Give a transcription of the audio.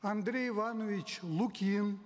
андрей иванович лукин